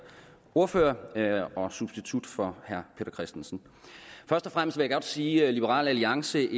ordfører og substitut for herre peter christensen først og fremmest vil jeg godt sige liberal alliance